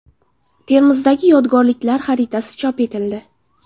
Termizdagi yodgorliklar xaritasi chop etildi.